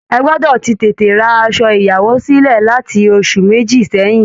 Ẹ gbọdọ̀ ti tètè ra asọ ìyàwó sílẹ̀ láti oṣù méjì sẹ́yìn!